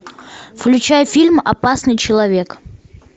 включай фильм опасный человек